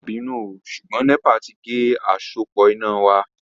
Ma binu ooo ṣugbọn nepa ti ge asopọ ina wa